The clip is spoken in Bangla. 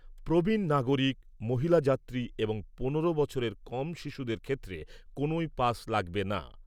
প্রবীণ নাগরিক, মহিলা যাত্রী এবং পনেরো বছরের কম শিশুদের ক্ষেত্রে কোনোই পাস লাগবে না।